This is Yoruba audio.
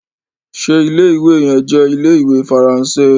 ṣe Ilé-ìwé yén jé Ilé-ìwé Faransé?